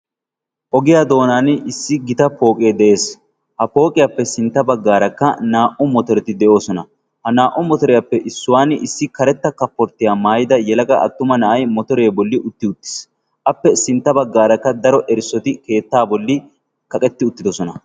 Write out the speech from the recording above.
Ogiya doonan issi gita pooqee de"es. Ha pooqiyappekka sintta baggaarakka naa"u motoreti de"oosona. Ha naa"u motoriyappe issuwani issi karetta kaforttiya maayida yelaga attuma na"ayi motoree bolli utti uttis. Appe sintta baggaarakka daro erissoti keettaa bolli kaqetti uttidosona.